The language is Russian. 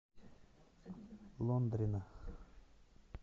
лондрина